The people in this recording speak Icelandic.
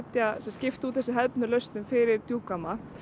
skipta úr þessum hefðbundnu lausnum fyrir djúpgáma